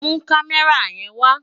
Mú Kàmèrá yèn wá